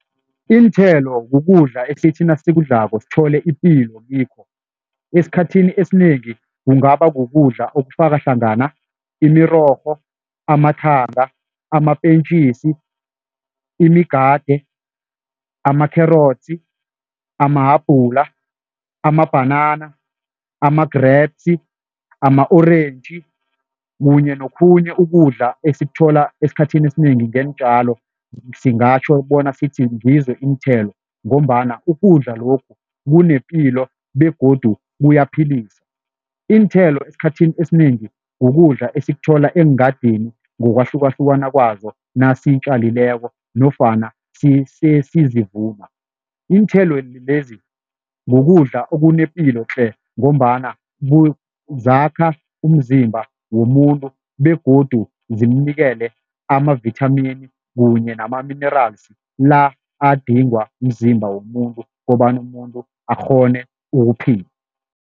Iinthelo kukudla esithi nasikudlako sithole ipilo kikho, esikhathini esinengi kungaba kukudla okufaka hlangana imirorho, amathanga, amapentjisi, imigade, amakherotsi, ama-habhula, amabhanana, ama-grapes, ama-orentji kunye nokhunye ukudla esikuthola esikhathini esinengi ngeentjalo, singatjho bona sithi ngizo iinthelo ngombana ukudla lokhu kunepilo begodu kuyaphilisa. Iinthelo esikhathini esinengi kukudla esikuthola eengadini ngokwahlukahlukana kwazo nasitjalileko nofana iinthelo lezi kukudla okunepilo tle ngombana zakha umzimba womuntu begodu zimnikele amavithamini kunye nama-minerals la adingwa mzimba womuntu kobana umuntu akghone ukuphila.